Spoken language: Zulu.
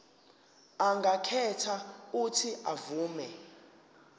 angakhetha uuthi avume